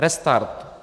Restart.